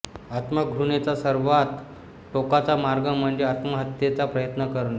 आत्मघृणेचा सर्वांत टोकाचा मार्ग म्हणजे आत्महत्येचा प्रयत्न करणे